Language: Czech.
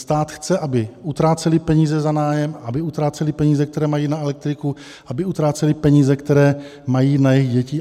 Stát chce, aby utráceli peníze za nájem, aby utráceli peníze, které mají na elektriku, aby utráceli peníze, které mají na jejich děti.